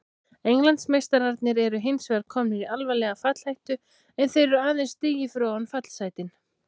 Englandsmeistararnir eru hinsvegar komnir í alvarlega fallhættu en þeir eru aðeins stigi fyrir ofan fallsætin.